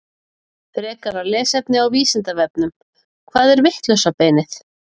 Frekara lesefni á Vísindavefnum: Hvað er vitlausa beinið?